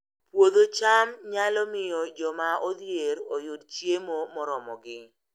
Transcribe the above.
Puodho cham nyalo miyo joma odhier oyud chiemo moromogi